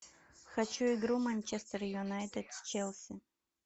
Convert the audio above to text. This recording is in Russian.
хочу игру манчестер юнайтед с челси